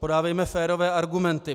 Podávejme férové argumenty.